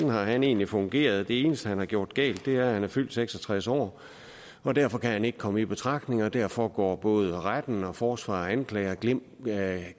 har han egentlig fungeret det eneste han har gjort galt er at han er fyldt seks og tres år og derfor kan han ikke komme i betragtning og derfor går både retten og forsvarer og anklager glip af